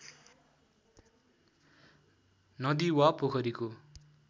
नदी वा पोखरीको